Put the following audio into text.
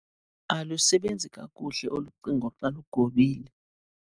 Alusebenzi kakuhle olu cingo xa lugobile.